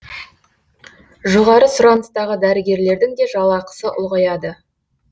жоғары сұраныстағы дәрігерлердің де жалақсы ұлғаяды